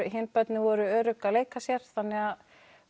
hin börnin voru örugg að leika sér þannig